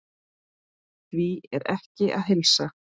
Því er ekki að heilsa.